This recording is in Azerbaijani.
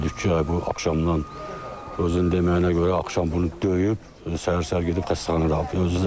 Ondan sonra bildik ki, ay bu axşamdan özün deməyinə görə axşam bunu döyüb, səhər-səhər gedib xəstəxanaya.